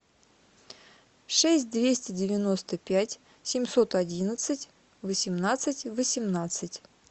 шесть двести девяносто пять семьсот одиннадцать восемнадцать восемнадцать